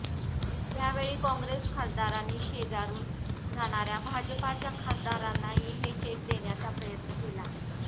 यावेळी काँग्रेस खासदारांनी शेजारून जाणाऱ्या भाजपाच्या खासदारांनाही हे चेक देण्याचा प्रयत्न केला